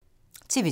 TV 2